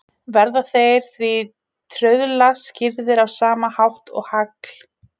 Verða þeir því trauðla skýrðir á sama hátt og hagl.